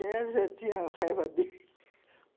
Ela já tinha raiva dele